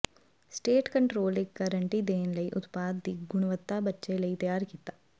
state control ਇੱਕ guarantee ਦੇਣ ਲਈ ਉਤਪਾਦ ਦੀ ਗੁਣਵੱਤਾ ਬੱਚੇ ਲਈ ਤਿਆਰ ਕੀਤਾ